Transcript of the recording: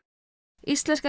íslenska